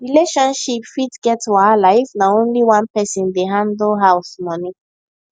relationship fit get wahala if na only one person dey handle house money